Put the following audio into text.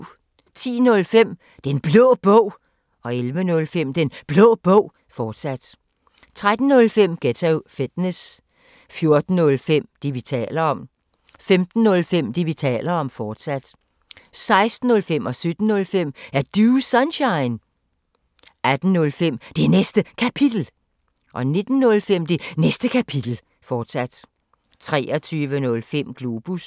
10:05: Den Blå Bog 11:05: Den Blå Bog, fortsat 13:05: Ghetto Fitness 14:05: Det, vi taler om 15:05: Det, vi taler om, fortsat 16:05: Er Du Sunshine? 17:05: Er Du Sunshine? 18:05: Det Næste Kapitel 19:05: Det Næste Kapitel, fortsat 23:05: Globus